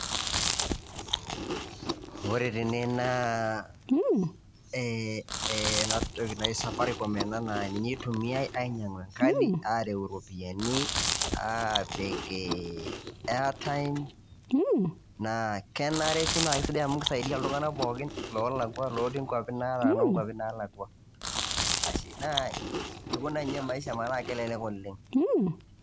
Ore tene naa, eh ena toki naji Safaricom ena naa ninye eitumiai ainyang'u enkadi, areu iropiani apik airtime, naa kenare pii naa kesidai amu keisaidia iltung'ana pookin loolakua, lotii nkaupi nataana o naalakwa, ashe. Naa eikuna ninye maisha metaa kelelek oleng.